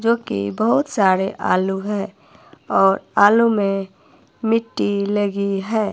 जोकि बहुत सारे आलू है और आलू में मिट्टी लगी है।